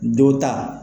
Don ta